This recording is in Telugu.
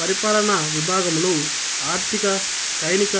పరిపాలనా విభాగములు ఆర్థిక సైనిక